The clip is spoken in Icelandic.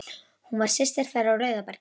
Hún var systir þeirra á Rauðabergi.